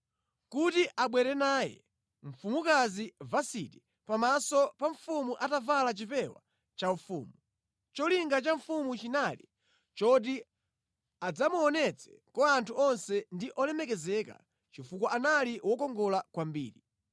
kuti abwere naye mfumukazi Vasiti pamaso pa mfumu atavala chipewa chaufumu. Cholinga cha mfumu chinali choti adzamuonetse kwa anthu onse ndi olemekezeka, chifukwa anali wokongola kwambiri.